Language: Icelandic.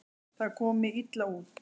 Það komi illa út.